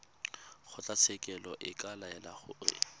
kgotlatshekelo e ka laela gore